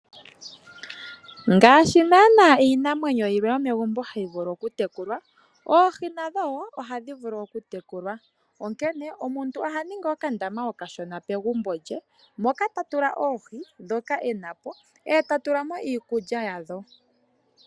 Ngaashi naana iinamwenyo yilwe yomegumbo hayi vulu okutekulwa oohi nadho wo ohadhi vulu okutekulwa onkene omuntu oha ningi okandama okashona pegumbo lye moka ta tula oohi ndhoka ena po eta tula mo iikulya yadho.